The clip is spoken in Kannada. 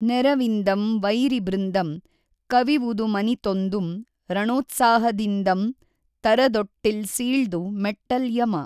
ನೆಱವಿಂದಂ ವೈರಿಬೃಂದಂ ಕವಿವುದುಮನಿತೊಂದುಂ ರಣೋತ್ಸಾಹದಿಂದಂ ತಱದೊಟ್ಟಿಲ್ ಸೀಳ್ದು ಮೆಟ್ಟಲ್ ಯಮ